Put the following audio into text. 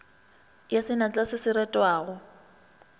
ya senatla se se retwago